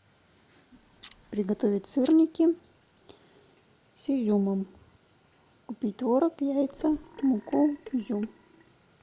приготовить сырники с изюмом купить творог яйца муку изюм